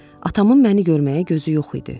Atamın məni görməyə gözü yox idi.